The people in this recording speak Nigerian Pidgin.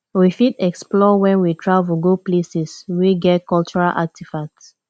we fit explore when we travel go places wey get cultural artefacts